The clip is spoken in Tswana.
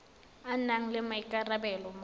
a nang le maikarabelo mo